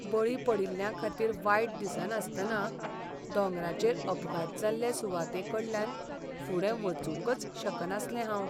बळी पडिल्ल्यांखातीर वायट दिसनासतना दोंगराचेर अपघात जाल्ले सुवातेकडल्यान फुडें वचूंकच शकनासलें हांव.